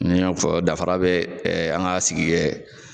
Ni y'a y'a fɔ danfara bɛ ɛ an ka sigi kɛ